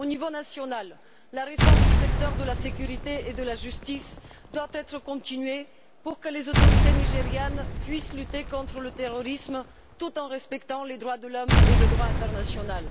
Au niveau national, la réforme du secteur de la sécurité et de la justice doit être poursuivie pour que les autorités nigérianes puissent lutter contre le terrorisme tout en respectant les droits de l'homme et le droit international.